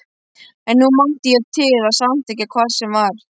En nú mátti ég til að samþykkja hvað sem var.